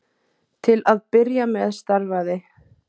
Til að byrja með starfaði